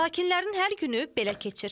Sakinlərin hər günü belə keçir.